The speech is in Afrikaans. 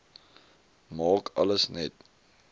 maak alles net